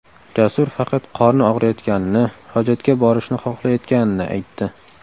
Jasur faqat qorni og‘riyotganini, hojatga borishni xohlayotganini aytdi.